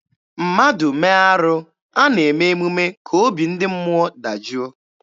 Mmadụ mee arụ, a na-eme emume ka obi ndị mmụọ dajụọ.